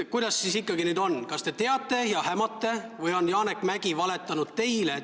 Kuidas siis ikkagi nüüd on, kas te teate ja hämate või on Janek Mäggi teile valetanud?